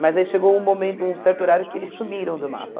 Mas aí chegou um momento, um certo horário, que eles sumiram do mapa.